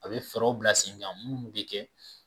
A bɛ fɛɛrɛw bila sen kan minnu bɛ kɛ